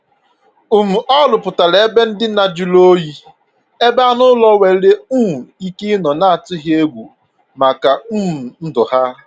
um Ọ rụpụtara ebe ndina juru oyi ebe anụ ụlọ nwere um ike ịnọ na-atụghị egwu maka um ndụ ha